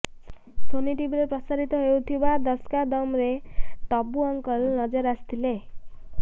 Sony ଟିଭିରେ ପ୍ରସାରିତ ହେଉଥିବା ଦଶ କା ଦମ୍ରେ ଡବ୍ବୁ ଅଙ୍କଲ ନଜର ଆସିଥିଲେ